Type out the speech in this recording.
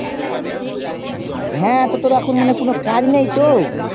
হ্যাঁ তোর এখন কোনো কাজ নেই তো